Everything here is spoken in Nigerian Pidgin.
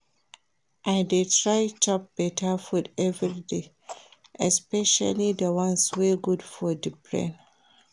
I dey try chop beta food everyday especially the ones wey good for the brain